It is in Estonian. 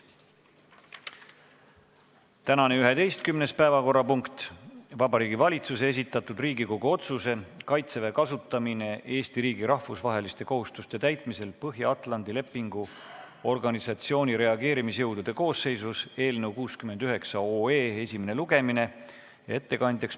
Tänane 11. päevakorrapunkt on Vabariigi Valitsuse esitatud Riigikogu otsuse "Kaitseväe kasutamine Eesti riigi rahvusvaheliste kohustuste täitmisel Põhja-Atlandi Lepingu Organisatsiooni reageerimisjõudude koosseisus" eelnõu 69 esimene lugemine.